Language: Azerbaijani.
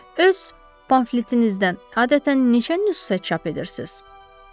Öz pamfletinizdən adətən neçə nüsxə çap edirsiz?